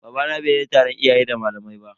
Babana bai je taron iyaye da malamai ba.